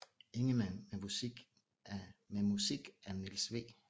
Ingemann med musik af Niels W